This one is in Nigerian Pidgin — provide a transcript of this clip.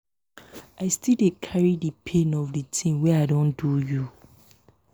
i still dey carry di pain of di tin wey i do you.